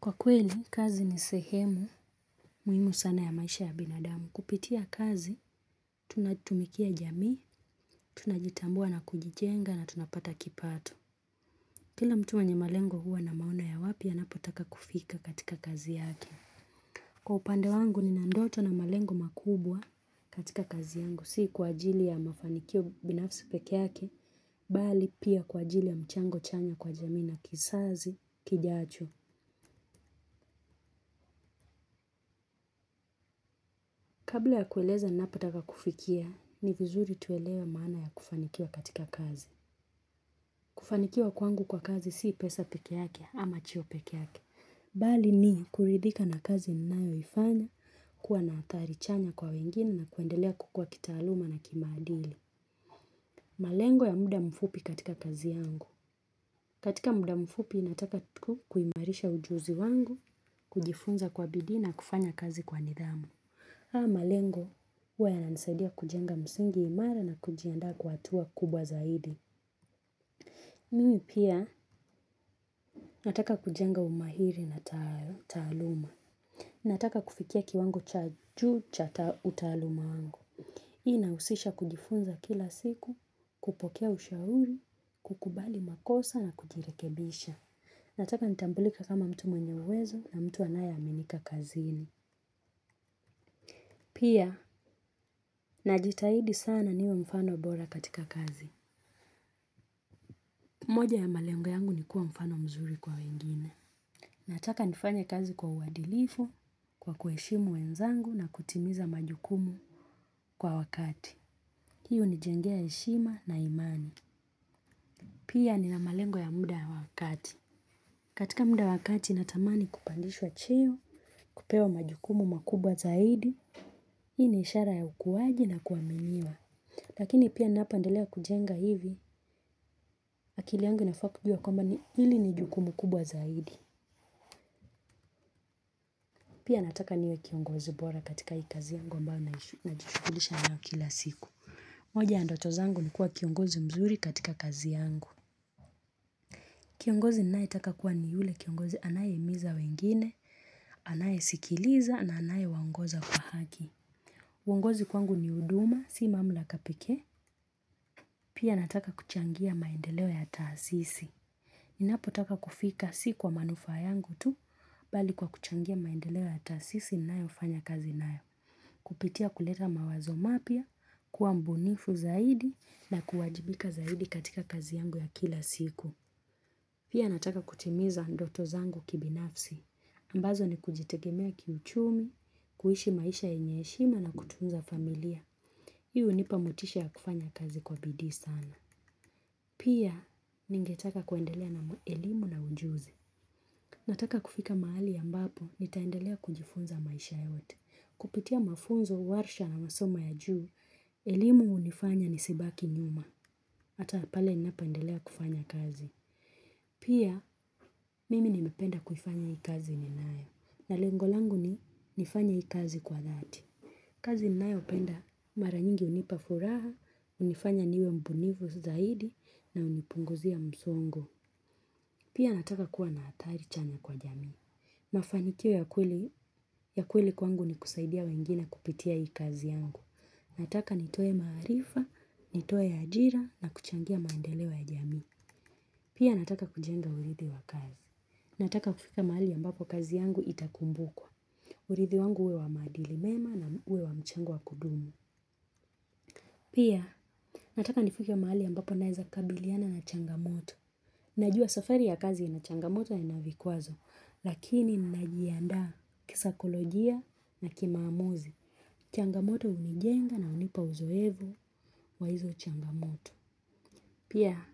Kwa kweli, kazi ni sehemu, muhimu sana ya maisha ya binadamu. Kupitia kazi, tunatumikia jamii, tunajitambua na kujijenga na tunapata kipato. Kila mtu mwenye malengo huwa na maona ya wapi, anapotaka kufika katika kazi yake. Kwa upande wangu, nina ndoto na malengo makubwa katika kazi yangu. Si kwa ajili ya mafanikio binafisi peke yake, bali pia kwa ajili ya mchango chanya kwa jamii na kisazi, kijacho. Kabla ya kueleza napotaka kufikia, ni vizuri tuelewe maana ya kufanikiwa katika kazi. Kufanikiwa kwangu kwa kazi si pesa peke yake ama cheo peke yake. Bali ni kuridhika na kazi ninayo ifanya, kuwa na athari chanya kwa wengine na kuendelea kukua kitaaluma na kimadili. Malengo ya muda mfupi katika kazi yangu. Katika muda mfupi ninataka kuimarisha ujuzi wangu, kujifunza kwa bidii na kufanya kazi kwa nidhamu. Haya malengo, huwa yananisaidia kujenga msingi imara na kujianda kwa hatua kubwa zaidi. Mimi pia, nataka kujenga umahiri na taaluma. Nataka kufikia kiwango cha juu cha utaaluma wangu. Inahusisha kujifunza kila siku, kupokea ushauri, kukubali makosa na kujirekebisha. Nataka nitambulike kama mtu mwenye uwezo na mtu anayeaminika kazini. Pia, najitahidi sana niwe mfano bora katika kazi. Moja ya malengo yangu ni kuwa mfano mzuri kwa wengine. Nataka nifanye kazi kwa uadilifu, kwa kuheshimu wenzangu na kutimiza majukumu kwa wakati. Hii hunijengea heshima na imani. Pia nina malengo ya muda ya wa kati. Katika muda wa kati natamani kupandishwa cheo, kupewa majukumu makubwa zaidi. Hii ni ishara ya ukuwaji na kuaminiwa. Lakini pia napoendelea kujenga hivi, akili yangu inafaa kujua kwamba hili ni jukumu kubwa zaidi. Pia nataka niwe kiongozi bora katika hii kazi yangu ambayo najishughulisha nayo kila siku. Moja ya ndoto zangu ni kuwa kiongozi mzuri katika kazi yangu. Kiongozi ninaetaka kuwa ni yule kiongozi anayehimiza wengine, anaye sikiliza na anayewaongoza kwa haki. Uongozi kwangu ni huduma, si mamlaka pekee. Pia nataka kuchangia maendeleo ya taasisi. Ninapo taka kufika si kwa manufaa yangu tu, bali kwa kuchangia maendeleo ya taasisi ninayofanya kazi nayo. Kupitia kuleta mawazo mapya, kuwa mbunifu zaidi na kuwajibika zaidi katika kazi yangu ya kila siku. Pia nataka kutimiza ndoto zangu kibinafsi. Ambazo ni kujitegemea kiuchumi, kuishi maisha yenye heshima na kutunza familia. Hii hunipa motisha ya kufanya kazi kwa bidii sana. Pia, ningetaka kuendelea na elimu na ujuzi. Nataka kufika mahali ambapo nitaendelea kujifunza maisha yote. Kupitia mafunzo, warsha na masomo ya juu. Elimu hunifanya nisibaki nyuma. Hata pale ninapoendelea kufanya kazi pia mimi nimependa kuifanya hii kazi ninayo na lengo langu ni nifanye hii kazi kwa thati. Kazi ninayo penda mara nyingi hunipa furaha hunifanya niwe mbunifu zaidi na hunipunguzia msongo. Pia nataka kuwa na athari chanya kwa jami. Mafanikio ya kweli kwangu ni kusaidia wengine kupitia hii kazi yangu. Nataka nitoe maarifa, nitoe ajira na kuchangia maendeleo ya jamii. Pia nataka kujenga urithi wa kazi. Nataka kufika mahali ambapo kazi yangu itakumbukwa. Urithi wangu uwe wa maadili mema na uwe wa mchango wa kudumu. Pia nataka nifike mahali ambapo naeza kabiliana na changamoto. Najua safari ya kazi ina changamoto na ina vikqazo. Lakini ninajiandaa kisaikolojia na kimaamuzi. Changamoto hunijenga na hunipa uzoefu wa hizo changamoto. Pia